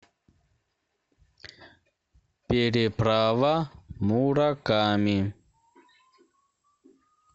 переправа мураками